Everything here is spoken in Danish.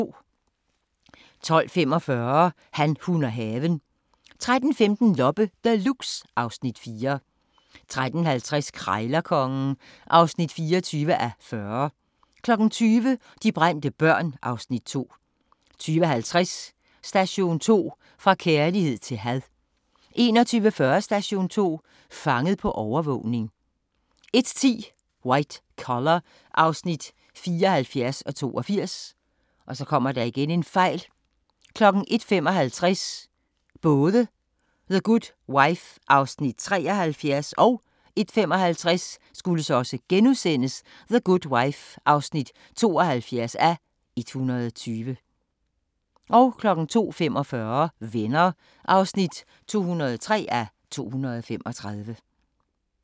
12:45: Han, hun og haven 13:15: Loppe Deluxe (Afs. 4) 13:50: Krejlerkongen (24:40) 20:00: De brændte børn (Afs. 2) 20:50: Station 2: Fra kærlighed til had 21:40: Station 2: Fanget på overvågning 01:10: White Collar (74:82) 01:55: The Good Wife (73:120) 01:55: The Good Wife (72:120)* 02:45: Venner (203:235)